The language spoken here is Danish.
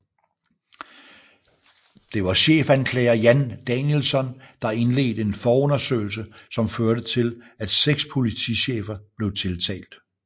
Det var chefanklager Jan Danielsson der indledte en forundersøgelse som førte til at 6 politichefer blev tiltalt